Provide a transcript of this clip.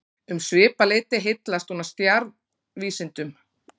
Um svipað leyti heillaðist hún af stjarnvísindum.